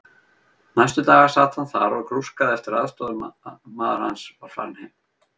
Næstu daga sat hann þar og grúskaði eftir að aðstoðarmaður hans var farinn heim.